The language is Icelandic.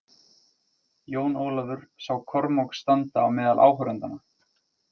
Jón Ólafur sá Kormák standa á meðal áhorfendanna.